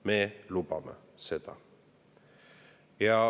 Me lubame seda.